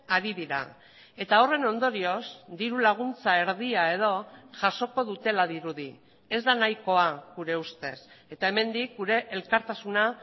ari dira eta horren ondorioz diru laguntza erdia edo jasoko dutela dirudi ez da nahikoa gure ustez eta hemendik gure elkartasuna